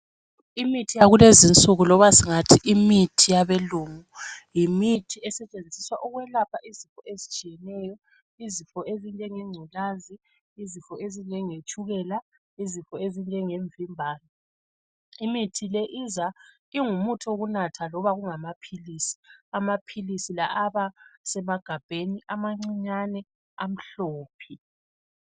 Imithi yakulezinsuku loba singathi imithi yabelungu, yimithi esetshenziswa ukwelapha izinto ezitshiyeneyo. Izifo ezinjengenculaza, izifo ezinjengetshukela. Imithi le iza ingumuthi wokulapha loba kungamaphilisi, amaphilisi la aba semagabheni amancinyane amhlophe.